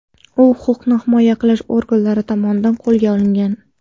U huquqni himoya qilish organlari tomonidan qo‘lga olingan.